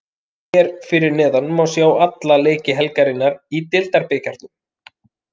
Hér fyrir neðan má sjá alla leiki helgarinnar í Deildabikarnum: